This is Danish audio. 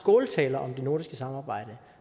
skåltaler om det nordiske samarbejde